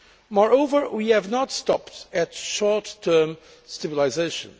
Moreover, we have not stopped at short term stabilisation.